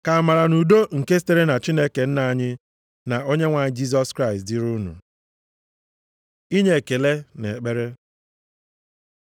Ka amara na udo nke sitere na Chineke Nna anyị, na Onyenwe anyị Jisọs Kraịst dịrị unu. Inye ekele na ekpere